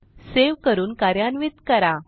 save करून कार्यान्वित करा